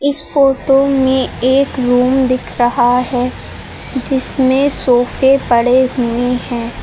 इस फोटो में एक रूम दिख रहा है जिसमें सोफे पड़े हुए हैं।